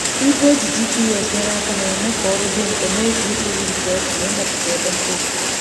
Igwe eji GPS nyere aka na-eme ka ọrụ dị mfe n’oge ịkpụ ridge ọka na imepụta ebe mkpụrụ.